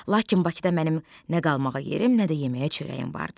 Lakin Bakıda mənim nə qalmağa yerim, nə də yeməyə çörəyim vardı.